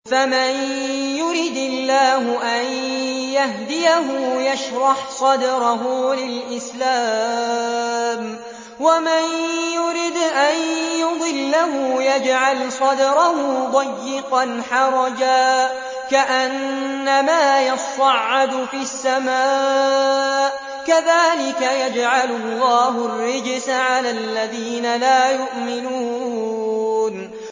فَمَن يُرِدِ اللَّهُ أَن يَهْدِيَهُ يَشْرَحْ صَدْرَهُ لِلْإِسْلَامِ ۖ وَمَن يُرِدْ أَن يُضِلَّهُ يَجْعَلْ صَدْرَهُ ضَيِّقًا حَرَجًا كَأَنَّمَا يَصَّعَّدُ فِي السَّمَاءِ ۚ كَذَٰلِكَ يَجْعَلُ اللَّهُ الرِّجْسَ عَلَى الَّذِينَ لَا يُؤْمِنُونَ